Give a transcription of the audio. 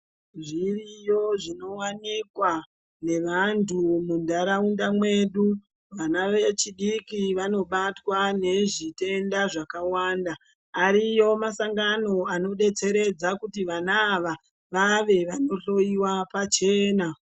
Zviriyo zvinowanikwa nevantu muntaraunda mwedu medu. Vana vechidiki vanobatwa nezvitenda zvakawanda ariyo masangano anodetseredza kuti Vana ava vave vanohloiwa pachena.